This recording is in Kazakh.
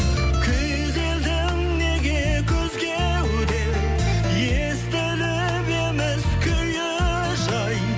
күйзелдің неге күз кеуде естіліп еміс күйі жай